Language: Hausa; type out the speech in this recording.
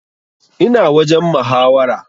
Ina wajen muhawara